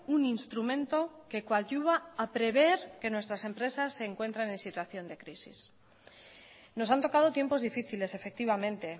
un instrumento que coadyuva a prever que nuestras empresas se encuentren en situación de crisis nos han tocado tiempos difíciles efectivamente